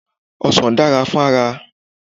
Ọsàn dára fún ara.